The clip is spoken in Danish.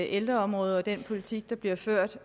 ældreområdet og af den politik der bliver ført